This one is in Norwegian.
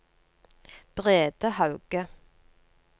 Brede Hauge